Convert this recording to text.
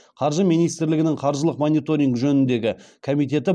қаржы министрлігінің қаржылық мониторинг жөніндегі комитеті